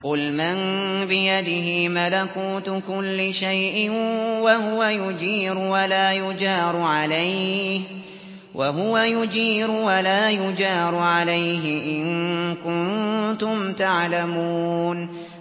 قُلْ مَن بِيَدِهِ مَلَكُوتُ كُلِّ شَيْءٍ وَهُوَ يُجِيرُ وَلَا يُجَارُ عَلَيْهِ إِن كُنتُمْ تَعْلَمُونَ